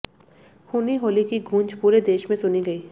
खूनी होली की गूंज पूरे देश में सुनी गयी